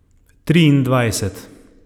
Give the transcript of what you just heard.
Triindvajset.